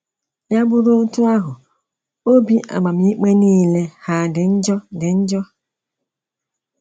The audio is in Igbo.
Ya bụrụ otú ahụ, obi amamikpe nile hà dị njọ dị njọ?